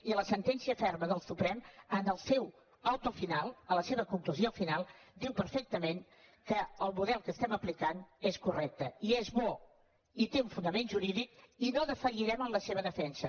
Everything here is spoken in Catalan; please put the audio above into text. i la sentència ferma del suprem en el seu automent que el model que estem aplicant és correcte i és bo i té un fonament jurídic i no defallirem en la seva defensa